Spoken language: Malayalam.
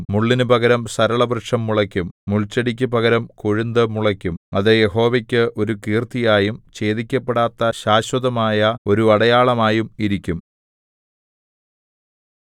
മുള്ളിനു പകരം സരളവൃക്ഷം മുളയ്ക്കും മുൾച്ചെടിക്കു പകരം കൊഴുന്തു മുളയ്ക്കും അത് യഹോവയ്ക്ക് ഒരു കീർത്തിയായും ഛേദിക്കപ്പെടാത്ത ശാശ്വതമായ ഒരു അടയാളമായും ഇരിക്കും